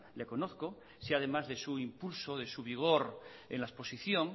le conozco si además de su impulso de su vigor en la exposición